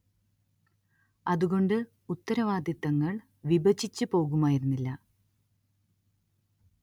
അതുകൊണ്ട് ഉത്തരവാദിത്തങ്ങൾ വിഭജിച്ച് പോകുമായിരുന്നില്ല